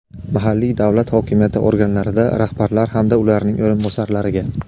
mahalliy davlat hokimiyati organlarida rahbarlar hamda ularning o‘rinbosarlariga;.